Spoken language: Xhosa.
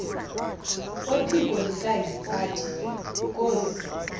kwephiko likahintsathi inkosi